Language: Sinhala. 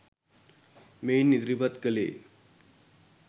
මෙයින් ඉදිරිපත් කළේ